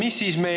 Küsimus!